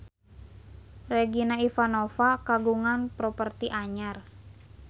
Regina Ivanova kagungan properti anyar